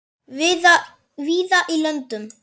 víða í löndum